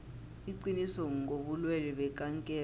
iqiniso ngobulwelwe bekankere